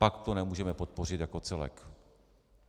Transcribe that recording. Pak to nemůžeme podpořit jako celek.